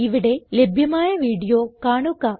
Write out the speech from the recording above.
ഇവിടെ ലഭ്യമായ വീഡിയോ കാണുക